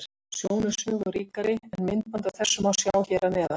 Sjón er sögu ríkari en myndband af þessu má sjá hér að neðan.